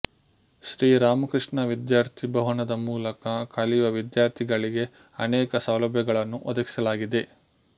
ಶ್ರೀ ರಾಮಕೃಷ್ಣ ವಿದ್ಯಾರ್ಥಿ ಭವನದ ಮೂಲಕ ಕಲಿಯುವ ವಿದ್ಯಾರ್ಥಗಳಿಗೆ ಅನೇಕ ಸೌಲಭ್ಯಗಳನ್ನು ಒದಗಿಸಲಾಗಿದೆ